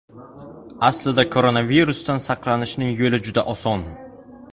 Aslida koronavirusdan saqlanishning yo‘li juda oson.